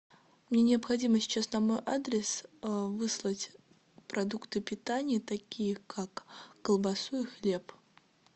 мне необходимо сейчас там адрес выслать продукты питания такие как колбасу и хлеб